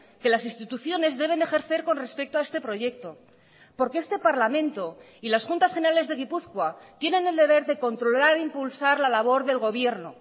que las instituciones deben ejercer con respecto a este proyecto porque este parlamento y las juntas generales de gipuzkoa tienen el deber de controlar e impulsar la labor del gobierno